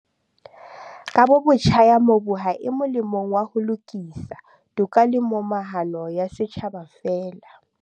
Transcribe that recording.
"Kabobotjha ya mobu ha e molemong wa ho lokisa, toka le momahano ya setjhaba feela."